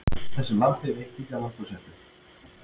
Þessu lambi veitti ekki af lambhúshettu.